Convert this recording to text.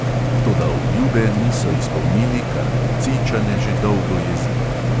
Toda obljube niso izpolnili, kar lucijčane že dolgo jezi.